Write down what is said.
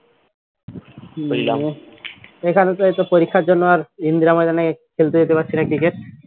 তো এখানে তো এই তো পরীক্ষার জন্য আর ইন্দিরা বাগানে খেলতে যেতে পারছি না cricket